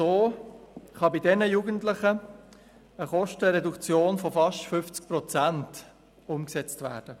So kann bei diesen Jugendlichen eine Kostenreduktion von fast 50 Prozent umgesetzt werden.